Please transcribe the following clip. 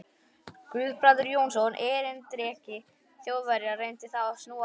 Guðbrandur Jónsson, erindreki Þjóðverja, reyndi þá að snúa á